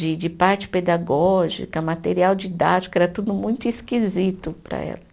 De de parte pedagógica, material didático, era tudo muito esquisito para ela.